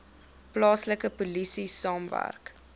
plaaslike polisie saamwerk